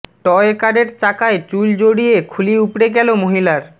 toy কারের চাকায় চুল জড়িয়ে খুলি উপড়ে গেল মহিলার